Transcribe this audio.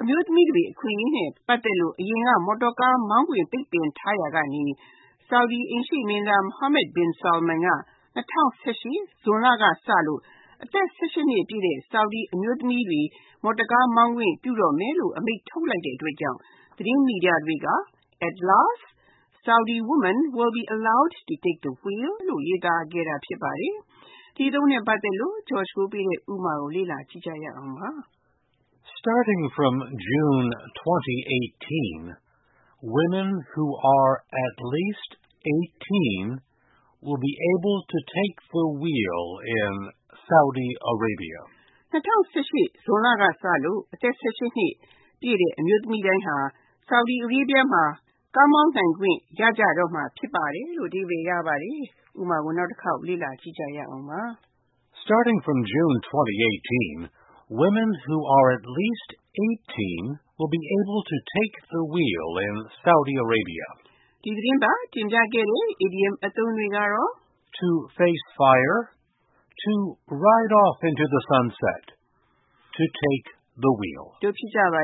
အမျိုးသမီးတွေ အခွင့်ရေးနဲ့ ပတ်သက်လို့ အရင်က မော်တော်ကား မောင်းခွင့် ပိတ်ပင်ထားရာကနေ Saudi အိမ်ရှေ့မင်းသား Mohammad bin Salman က ၂၀၁၈ ဇွန်လကစလို့ အသက် (၁၈) နှစ်ပြည့်တဲ့ Saudi အမျိုးသမီးတွေကို မော်တော်ကားမောင်းခွင့်ပြုတော့မယ်လို့ အမိန့်ထုတ်လိုက်တဲ့အတွက်ကြောင့် သတင်းမီဒီယာတွေက At last Saudi women will be allowed to take the wheel လို့ ရေးသားခဲ့တာ ဖြစ်ပါတယ်။ ဒီအသုံးနဲ့ပတ်သက်တဲ့ ဥပမာကို လေ့လာကြည့်ရအောင်ပါ။ Starting from June 2018, Saudi women who are at least eighteen will be able to take the wheel in their country. ၂၀၁၈ ဇွန်လကစလို့ အသက် (၁၈) နှစ်ပြည့်တဲ့ အ Saudi မျိုးသမီးတွေဟာ သူတို့နိုင်ငံမှာ ကားမောင်းခွင့်ရကြတော့မှာ ဖြစ်ပါတယ်။ ဒီသတင်းပတ် တင်ပြခဲ့တဲ့ idioms အသုံးတွေက To face fire, To ride off into the sunset နဲ့ To take the wheel တို့ ဖြစ်ကြပါ